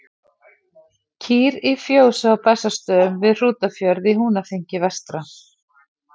Kýr í fjósi á Bessastöðum við Hrútafjörð í Húnaþingi vestra.